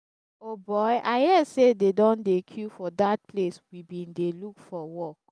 o boy i hear say dey don dey queue for dat place we bin dey look for work